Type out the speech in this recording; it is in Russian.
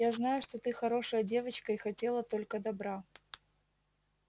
я знаю что ты хорошая девочка и хотела только добра